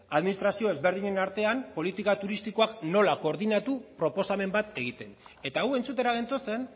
administrazio ezberdin artean politika turistikoak nola koordinatu proposamen bat egiten eta hau entzutera gentozen